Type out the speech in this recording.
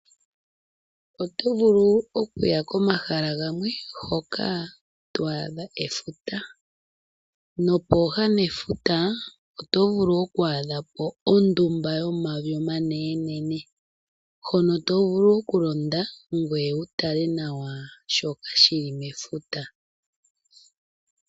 Oto vulu okuya komahala gamwe, hoka to adha efuta. Pooha nefuta oto vulu oku adhapo ondumba yomavi omanene, hono tovulu okulonda, ngwee wutale nawa shoka shili mefuta.